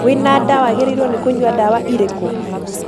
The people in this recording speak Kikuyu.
Wĩ na nda waagĩrĩiruo nĩ kũnyua dawa irĩkũ?